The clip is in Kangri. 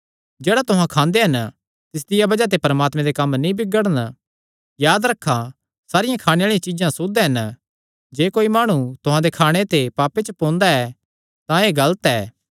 जेह्ड़ा तुहां खांदे हन तिसदिया बज़ाह ते परमात्मे दे कम्म नीं बिगड़ण याद रखा सारियां खाणे दियां चीज्जां सुद्ध हन जे कोई माणु तुहां दे खाणे ते पापे च पोंदा ऐ तां एह़ गलत ऐ